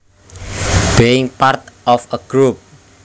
Being part of a group